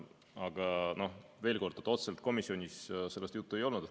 Aga veel kord, otseselt komisjonis sellest juttu ei olnud.